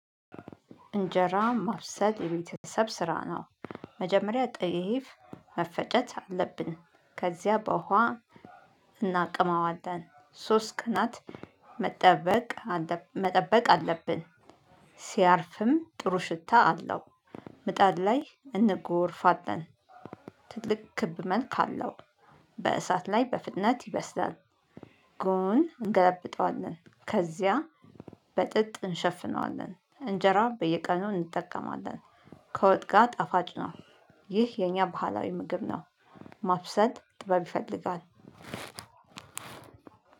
እንጀራ ማብሰል የቤተሰብ ስራ ነው። መጀመሪያ ጤፍ መፈጨት አለብን ከዚያ በውሃ እናቅመዋለን ሶስት ቀናት መጠበቅ መጠበቅ አለብን። ሲያርፍም ጥሩ ሽታ አለው። ምጣድ ላይ እንጎርፋለን። ትልቅ ክብ መልክ አለው። በእሳት ላይ በፍጥነት ይበስዳል። ጎን እንገለብጠዋለን ከዚያ በጥጥ እንሸፍነዋለን እንጀራ በየቀኑ እንጠቀማለን። ከወጥጋ ጣፋጭ ነው። ይህ የኛ ባህላዊ ምግብ ነው። ማብሰል ጥበብ ይፈልጋል።